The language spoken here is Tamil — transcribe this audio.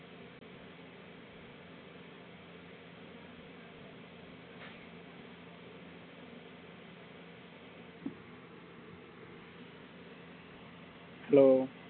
hello